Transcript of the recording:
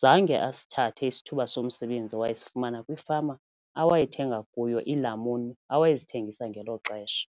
zange asithathe isithuba somsebenzi awayesifumana kwifama awayethenga kuyo iilamuni awayezithengisa ngelo xesha.